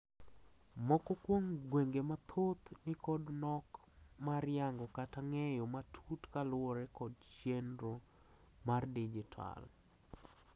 moko kuom gwenge mathoth nikod nok mar yango kata ng'eyo matut kaluwore kod chienro mar dijital